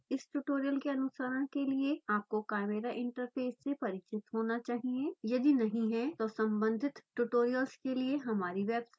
इस ट्यूटोरियल के अनुसरण के लिए आपको chimera इंटरफ़ेस से परिचित होना चाहिए यदि नहीं तो सम्बंधित ट्यूटोरियल्स के लिए हमारी वेबसाइट पर जाएँ